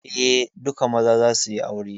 Eh, duka maza za suyi aure